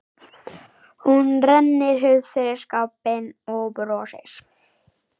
Hún rennir hurð fyrir skápinn og brosir.